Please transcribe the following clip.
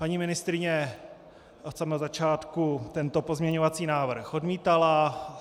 Paní ministryně od samého začátku tento pozměňovací návrh odmítala.